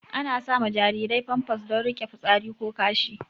Ana sama jarirai famfas don rike fitsari ko kashi